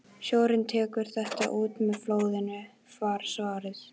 Sjórinn tekur þetta út með flóðinu, var svarið.